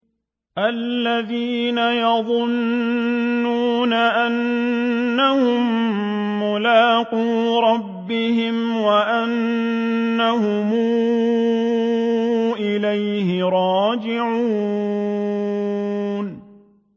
الَّذِينَ يَظُنُّونَ أَنَّهُم مُّلَاقُو رَبِّهِمْ وَأَنَّهُمْ إِلَيْهِ رَاجِعُونَ